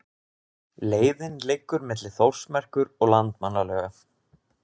Leiðin liggur milli Þórsmerkur og Landmannalauga.